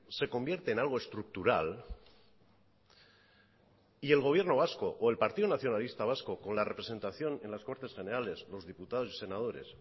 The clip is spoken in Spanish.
se convierte en algo estructural y el gobierno vasco o el partido nacionalista vasco con la representación en las cortes generales los diputados y senadores